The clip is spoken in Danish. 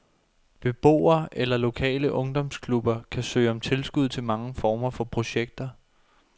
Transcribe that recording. Beboere eller lokale ungdomsklubber kan søge om tilskud til mange former for projekter.